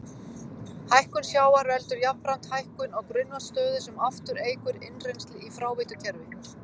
Hækkun sjávar veldur jafnframt hækkun á grunnvatnsstöðu sem aftur eykur innrennsli í fráveitukerfi.